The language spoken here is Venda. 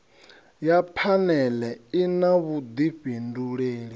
ya phanele i na vhudifhinduleli